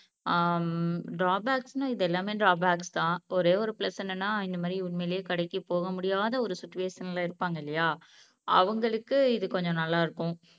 ஆஹ் உம் ட்ராபேக்ஸ்ன்னா இதெல்லாமே ட்ராபேக்ஸ்தான் ஒரே ஒரு பிளஸ் என்னன்னா இந்த மாதிரி உண்மையிலேயே கடைக்கு போக முடியாத ஒரு சூட்டுவேஷன்ல இருப்பாங்க இல்லையா அவுங்களுக்கு இது கொஞ்சம் நல்லா இருக்கும்